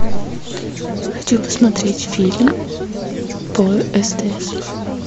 хочу посмотреть фильм по стс